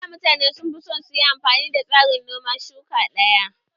A da mutane sun fi son su yi amfani da tsarin noman shuka ɗaya